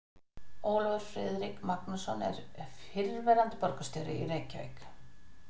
Ólafur Friðrik Magnússon er fyrrverandi borgarstjóri í Reykjavík.